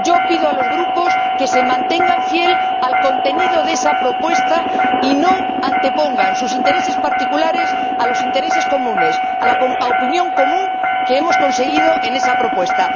Pido a los grupos que se mantengan fieles al contenido de esa propuesta y no antepongan sus intereses particulares a los intereses comunes, a la opinión común que hemos conseguido en cuanto a esa propuesta.